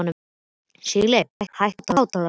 Sigurleif, hækkaðu í hátalaranum.